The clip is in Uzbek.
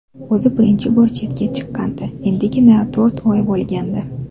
O‘zi birinchi bor chetga chiqqandi, endigina to‘rt oy bo‘lgandi.